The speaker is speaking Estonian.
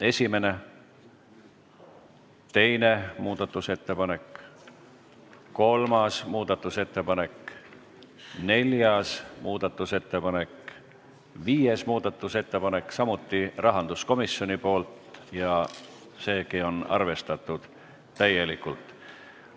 Esimene muudatusettepanek, teine muudatusettepanek, kolmas muudatusettepanek, neljas muudatusettepanek, viies muudatusettepanek, samuti rahanduskomisjonilt ja seegi on arvestatud täielikult.